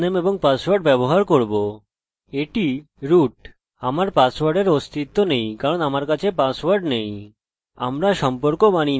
এটি root আমার পাসওয়ার্ডের অস্তিত্ব নেই কারণ আমার কাছে পাসওয়ার্ড নেই